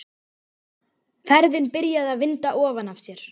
Ferðin byrjaði að vinda ofan af sér.